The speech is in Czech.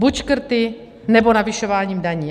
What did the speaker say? Buď škrty, nebo navyšování daní.